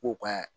K'u ka